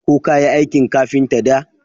Ko kayi aikin kafinta da?